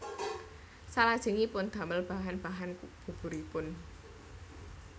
Salajengipun damel bahan bahan buburipun